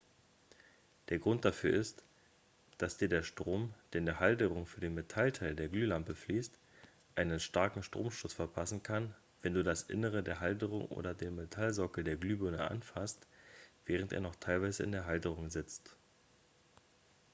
der grund dafür ist dass dir der strom der in die halterung für den metallteil der glühlampe fließt einen starken stromstoß verpassen kann wenn du das innere der halterung oder den metallsockel der glühbirne anfasst während er noch teilweise in der halterung sitzt